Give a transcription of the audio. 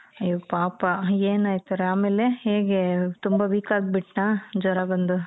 ಅಯ್ಯೋ ಪಾಪ ಏನಾಯಿತು ರಿ ಆಮೇಲೆ ಹೇಗೆ ತುಂಬಾ weak ಆಗ್ಬಿಟ್ನಾ ಜ್ವರ ಬಂದು.